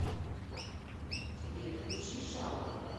сбер включи шаллоу